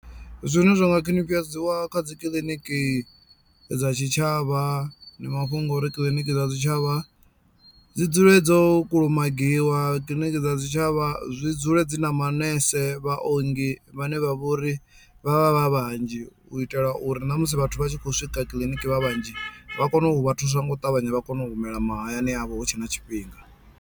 Zwine zwa nga khwinifhadziwa kha dzikiḽiniki dza tshitshavha ndi mafhungo uri kiḽiniki dza tshitshavha dzi dzule dzo kulumagiwa, kiḽiniki dza tshitshavha zwi dzule dzi na na manese vhaongi vhane vha vhori vha vha vha vhanzhi u itela uri na musi vhathu vha tshi khou swika kiḽiniki vha vhanzhi vha kone u vha thusa nga u ṱavhanya vha kone u humela mahayani avho hutshe na tshifhinga.